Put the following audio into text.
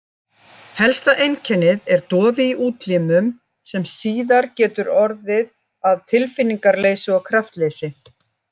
Helsta einkennið er dofi í útlimum sem síðar getur orðið að tilfinningaleysi og kraftleysi.